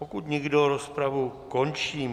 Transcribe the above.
Pokud nikdo, rozpravu končím.